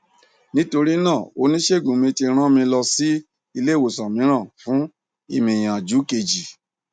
nítorí náà onísègùn mi tí rán mi lọ si ileiwosan míràn fún ìmìyànjú keji